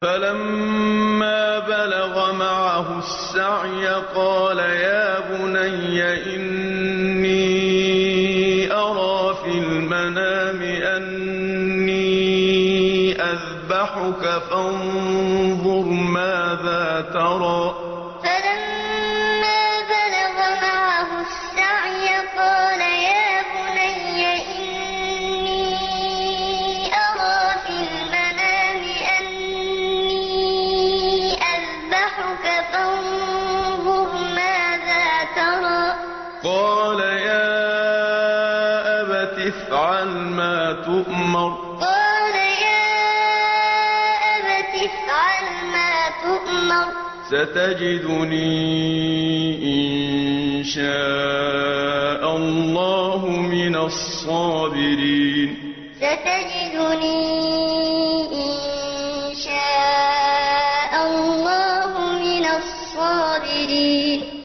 فَلَمَّا بَلَغَ مَعَهُ السَّعْيَ قَالَ يَا بُنَيَّ إِنِّي أَرَىٰ فِي الْمَنَامِ أَنِّي أَذْبَحُكَ فَانظُرْ مَاذَا تَرَىٰ ۚ قَالَ يَا أَبَتِ افْعَلْ مَا تُؤْمَرُ ۖ سَتَجِدُنِي إِن شَاءَ اللَّهُ مِنَ الصَّابِرِينَ فَلَمَّا بَلَغَ مَعَهُ السَّعْيَ قَالَ يَا بُنَيَّ إِنِّي أَرَىٰ فِي الْمَنَامِ أَنِّي أَذْبَحُكَ فَانظُرْ مَاذَا تَرَىٰ ۚ قَالَ يَا أَبَتِ افْعَلْ مَا تُؤْمَرُ ۖ سَتَجِدُنِي إِن شَاءَ اللَّهُ مِنَ الصَّابِرِينَ